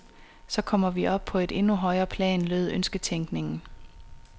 Så kommer vi op på et endnu højere plan, lød ønsketænkningen.